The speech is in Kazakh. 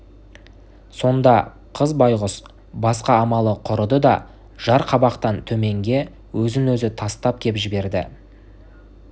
сонда қыз байғұс басқа амалы құрыды да жар қабақтан төменге өзін-өзі тастап кеп жіберді